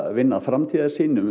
vinna framtíðarsýn um